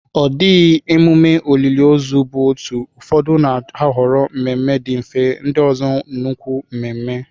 Ọ dịghị emume olili ozu bụ otu, ụfọdụ na-ahọrọ mmemme dị mfe, ndị ọzọ nnukwu mmemme.